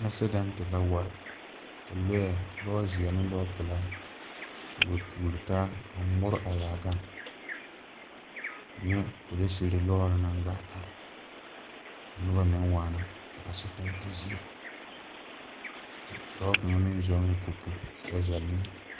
Asedɛnte la wa kalɔɛ, lɔzeɛ ne lɔpelaa a ŋmore a zaa gaŋ. N nyɛɛ polisiri lɔɔre naŋ gaa are ka noba meŋ waana a asedɛnte zie. Dɔɔ kaŋa meŋ zɔŋɛɛ popo kyɛ zɛle neɛ.